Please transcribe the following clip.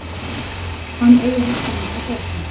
Hann eigi hagsmuni að gæta.